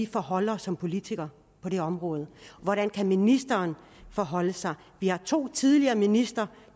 forholde os som politikere på det område hvordan ministeren forholder sig til vi har to tidligere ministre